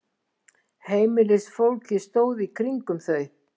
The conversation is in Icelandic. Heimilisfólkið stóð í kringum þau.